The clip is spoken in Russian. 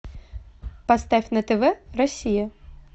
поставь на тв россия